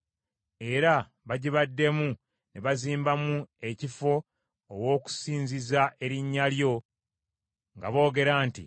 Era bagibaddemu ne bazimbamu ekifo ow’okusinziza erinnya lyo, nga boogera nti,